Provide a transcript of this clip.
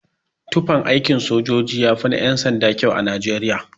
Tufan aikin sojoji yafi na yan-sanda kyau a nijeriya.